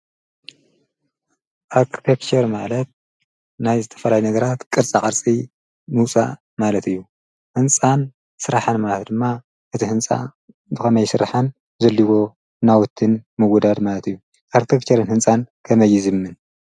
ኣክጰብሸር ማለት ናይ ዝተፈልይ ነገራት ቅርጻ ቐርጺ ኑፃእ ማለት እዩ ሕንፃን ሥራሕን ማልት ድማ እቲ ሕንፃ ብመይ ሥርኃን ዘልዎ ናውትን ምጐዳድ ማለት እዩ ኣርተኽከርን ሕንፃን ከመይዝምን።